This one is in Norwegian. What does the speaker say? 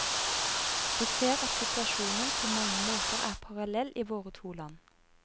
Vi ser at situasjonen på mange måter er parallell i våre to land.